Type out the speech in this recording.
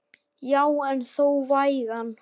Já en þó vægan.